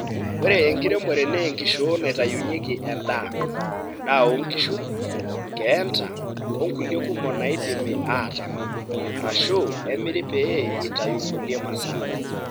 Ore enkiremore naa enkishoo naitayunyieki endaa, endaa oo nkishu, nkeenta o nkulie kumok naidimi aatama arashu emiri pee itayu nkulie masaa.